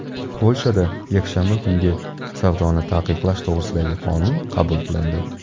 Polshada yakshanba kungi savdoni taqiqlash to‘g‘risidagi qonun qabul qilindi.